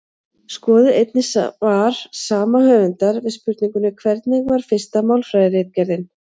Skoðið einnig svar sama höfundar við spurningunni Hvernig var fyrsta málfræðiritgerðin?